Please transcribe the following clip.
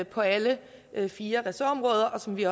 på alle fire ressortområder så vi